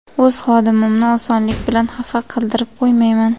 O‘z xodimimni osonlik bilan xafa qildirib qo‘ymayman.